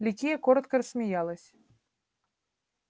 ликия коротко рассмеялась